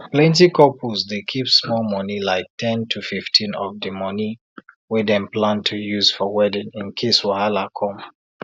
plenty couples dey keep small monie like ten to 15 of de money wey dem plan to use for wedding in case wahala come